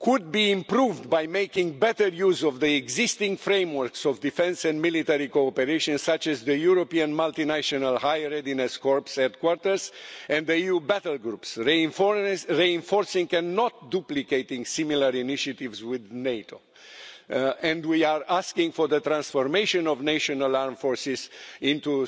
could be improved by making better use of the existing frameworks of defence and military cooperation, such as the European multinational High Readiness Corps' headquarters and the EU Battlegroups, reinforcing but not duplicating similar initiatives with NATO, and we are asking for the transformation of national armed forces into